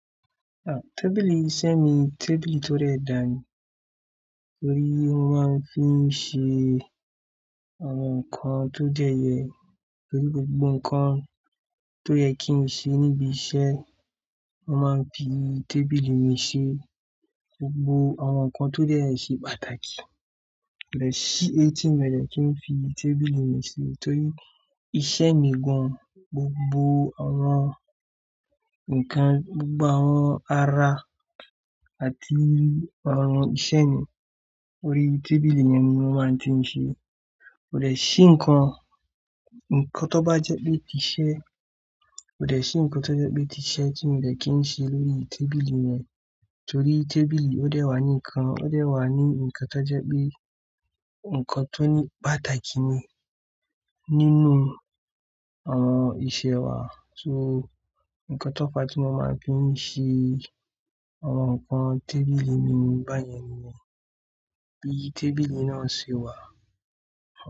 Ah, tábìlì iṣẹ́ mi, tábìlì tó de dà mi. Torí mo máa ń fi ṣe àwọn nǹkan tó jẹ́ yẹ, torí gbogbo nǹkan tó yẹ kí n ṣe níbi iṣẹ́, a máa ń fi tábìlì mi ṣe gbogbo àwọn nǹkan tó yẹ kí ó ṣe pàtàkì. Kò deeẹ si ẹtì mi rẹ tó n fi tábìlì mi ṣe torí iṣẹ́ mi gán. Gbogbo àwọn nǹkan, gbogbo àwọn ara àti àwọn iṣẹ́ mi lórí tábìlì mí ni mo máa tí ń ṣe. Kò dẹ sí nǹkan, nǹkan tó bá jẹ́ pé tí iṣẹ́, kò dẹ̀ sí nǹkan tó jẹ́ pé tí iṣẹ́ tí mo dẹ kí n ṣe lórí tábìlì yẹn. Torí tábìlì ó dẹ wà ní nǹkan, ó dẹ wà ní nǹkan tó jẹ́ pé nǹkan tó ní pàtàkì ni nínú àwọn iṣẹ́ wa. So nǹkan tó fa tí wọ́n máa ń fi ń ṣe àwọn nǹkan tábìlì mi ní bá yẹn nìyẹn. Bí tábìlì náà ṣe wà.